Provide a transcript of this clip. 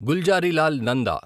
Gulzarilal Nanda